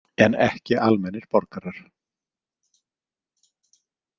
En ekki almennir borgarar.